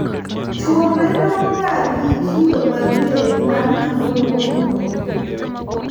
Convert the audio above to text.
chuo bedogagi kido mager mag tuwono mohingo mine